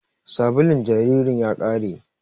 Sabulun jaririn ya ƙare